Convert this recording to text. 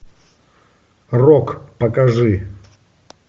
рок покажи